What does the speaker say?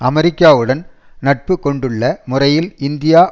அமெரிக்காவுடன் நட்பு கொண்டுள்ள முறையில் இந்தியா